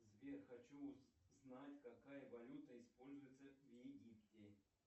сбер хочу знать какая валюта используется в египте